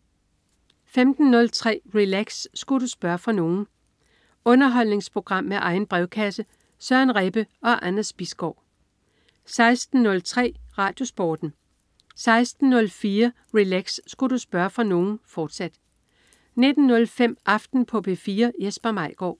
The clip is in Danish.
15.03 Relax. Sku' du spørge fra nogen? Underholdningsprogram med egen brevkasse. Søren Rebbe og Anders Bisgaard 16.03 RadioSporten 16.04 Relax. Sku' du spørge fra nogen?, fortsat 19.05 Aften på P4. Jesper Maigaard